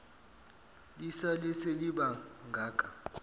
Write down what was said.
lisale seliba ngaka